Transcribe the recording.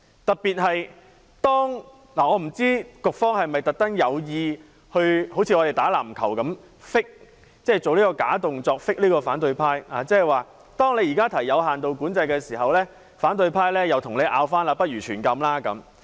我不知道局方是否像我們打籃球般，故意 fake 這個假動作，去 fake 反對派。當你現時提出有限度管制，反對派便反駁你，反建議實行全禁！